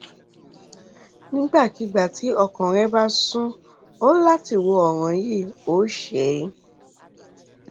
nígbàkigbà tí ọkàn rẹ bá sún ọ láti wo ọràn yìí o ṣe é